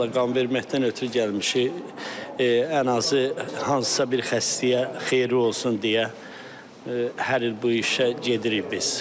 Qan verməkdən ötrü gəlmişik, ən azı hansısa bir xəstəyə xeyirli olsun deyə hər il bu işə gedirik biz.